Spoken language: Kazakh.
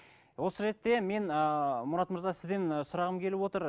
осы ретте мен ыыы мұрат мырза сізден ы сұрағым келіп отыр